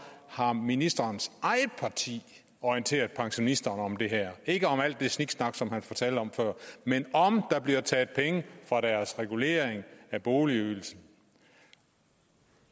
har ministerens eget parti orienteret pensionisterne om det her ikke om alt det sniksnak som han fortalte om før men om der bliver taget penge fra deres regulering af boligydelsen